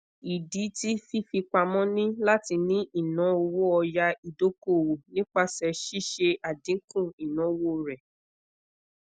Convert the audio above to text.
idi ti fifipamọ ni lati ni ina owo oya idokoowo nipasẹ sise adinku inawo re